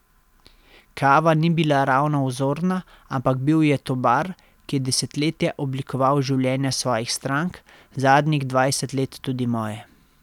Kava ni bila ravno vzorna, ampak bil je to bar, ki je desetletja oblikoval življenja svojih strank, zadnjih dvajset let tudi moje.